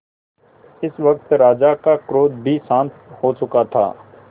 इस वक्त राजा का क्रोध भी शांत हो चुका था